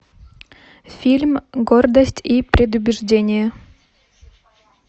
фильм гордость и предубеждение